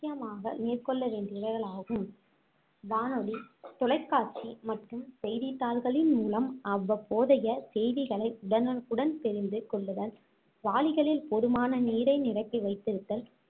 முக்கியமாக மேற்கொள்ள வேண்டியவையாகும் வானொலி, தொலைக்காட்சி மற்றும் செய்தித்தாள்களின் மூலம் அவ்வப்போதைய செய்திகளை உடனுக்குடன் தெரிந்து கொள்ளுதல், வாளிகளில் போதுமான நீரை நிரப்பி வைத்திருத்தல்,